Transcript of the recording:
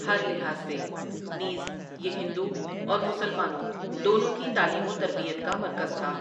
ہر لحاظ سے، نیز یہ ہندو اور مسلمانوں دونوں کی تعلیم وتربیت کا مرکز تھا ۔